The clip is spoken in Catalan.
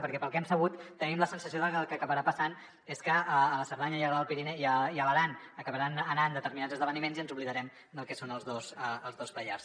perquè pel que hem sabut tenim la sensació que el que acabarà passant és que a la cerdanya i a l’aran acabaran anant determinats esdeveniments i ens oblidarem del que són els dos pallars